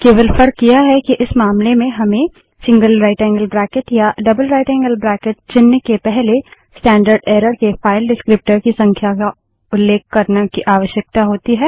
केवल फर्क यह है कि इस मामले में हमें gtया जीटीजीटी चिन्ह के पहले स्टैंडर्डएर्रर के फाइल डिस्क्रीप्टर की संख्या को उल्लेख करने की आवश्यकता होती है